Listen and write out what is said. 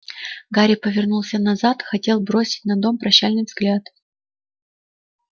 гарри повернулся назад хотел бросить на дом прощальный взгляд